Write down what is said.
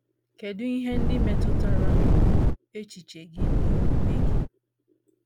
Kedụ ihe ndị metụtara echiche gị na omume gị?